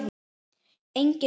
Enginn sá það fyrir.